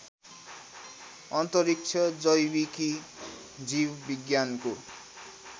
अन्तरिक्ष जैविकी जीवविज्ञानको